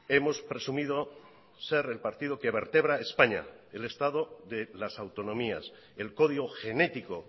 hemos presumido ser el partido que vertebra españa el estado de las autonomías el código genético